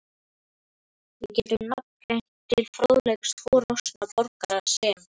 Við getum nafngreint til fróðleiks tvo roskna borgara, sem